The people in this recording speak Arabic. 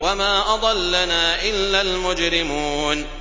وَمَا أَضَلَّنَا إِلَّا الْمُجْرِمُونَ